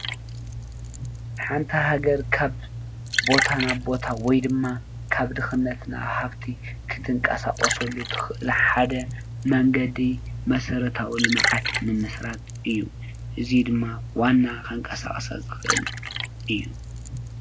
ሓንቲ ሃገር ካብ ቦታ ናብ ቦታ ወይ ድማ ካብ ድክነት ናብ ሃፍቲ ክትንቀሳቀስሉ ትክእል ሓደ መንገዲ መሰረታዊ ልምዓት ምምስራት እዩ:: እዚ ድማ ዋና ከንቀሳቅሳ ዝክእል እዩ ።